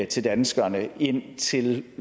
til danskerne indtil